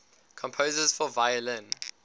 composers for violin